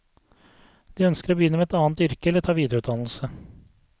De ønsker å begynne i et annet yrke eller ta videreutdannelse.